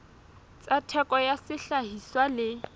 tsa theko ya sehlahiswa le